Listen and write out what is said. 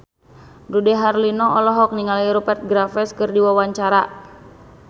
Dude Herlino olohok ningali Rupert Graves keur diwawancara